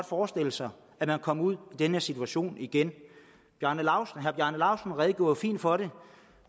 forestille sig at man kom ud i den her situation igen herre bjarne laustsen redegjorde jo fint for det